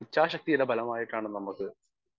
speaker 1 ഇച്ഛാശക്തിയുടെ ഫലമായിട്ടാണ് നമ്മക്ക്